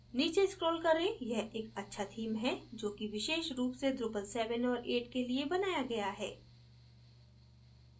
नीचे scroll करें यह एक अच्छा theme है जो कि विशेष रूप से drupal 7 और 8 के लिए बनाया गया है